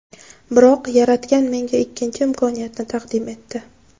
Biroq Yaratgan menga ikkinchi imkoniyatni taqdim etdi.